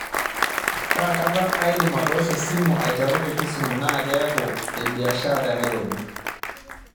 kakata aidim atoosho esimu aiteru tekisumu naa keeku ebiaashara tenairobi